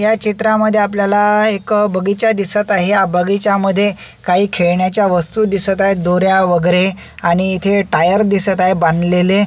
या चित्रामध्ये आपल्याला एक बगीचा दिसत आहे बगीच्यामध्ये काही खेळण्याच्या वस्तु दिसत आहे दोऱ्या वेगेरे आणि इथे टायर दिसत आहे बांधलेले.